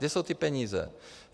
Kde jsou ty peníze?